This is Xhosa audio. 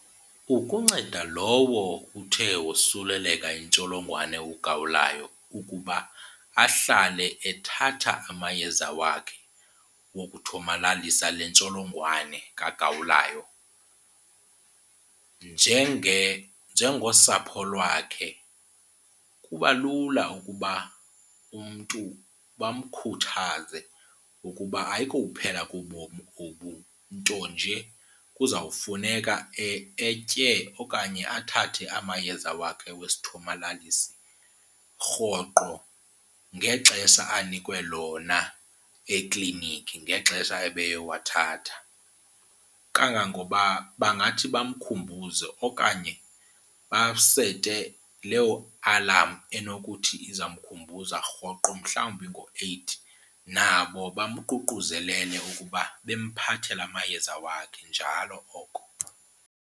Ukunceda lowo uthe wosuleleka yintsholongwane ugawulayo ukuba ahlale ethatha amayeza wakhe wokuthomalalisa le ntsholongwane kagawulayo, njengosapho lwakhe kuba lula ukuba umntu bamkhuthaze ukuba ayikokuphela kobomi obu nto nje kuzawufuneka etye okanye athathe amayeza wakhe wesithomalalisi rhoqo ngexesha anikwe lona ekliniki ngexesha ebeyowathatha. Kangangoba bangathi bamkhumbuze okanye basete leyo alarm enokuthi iza mkhumbuza rhoqo mhlawumbi ngo-eight, nabo bamququzelele ngokuba bemphathela amayeza wakhe njalo oko.